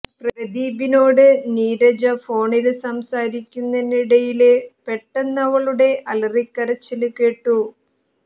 പ്രദീപിനോട് നീരജ ഫോണില് സംസാരിക്കുന്നതിനിടയില് പെട്ടെന്ന് അവളുടെ അലറിക്കരച്ചില് കേട്ടു